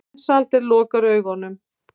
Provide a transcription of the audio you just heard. Mensalder lokar augunum.